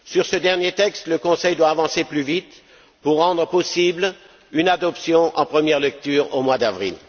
Sur ce dernier texte, le Conseil doit avancer plus vite pour rendre possible une adoption en première lecture, au mois d'avril.